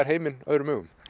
heiminn öðrum augum